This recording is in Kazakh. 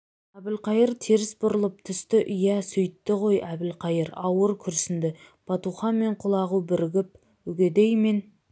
әбілқайыр теріс бұрылып түсті иә сөйтті ғой әбілқайыр ауыр күрсінді батухан мен құлағу бірігіп үгедей мен